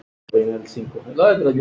Meira gamanið það!